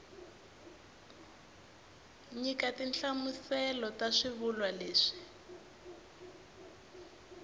nyika tinhlamuselo ta swivulwa leswi